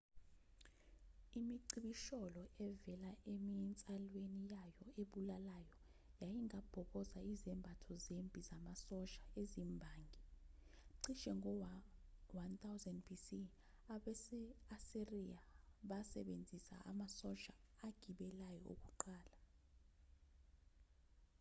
imicibisholo evela eminsalweni yayo ebulalayo yayingabhoboza izembatho zempi zamasosha ezimbangi cishe ngo-1000 b.c. abase-asiriya basebenzisa amasosha agibeleyo okuqala